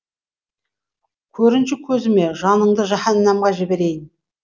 көрінші көзіме жаныңды жаһаннамға жіберейін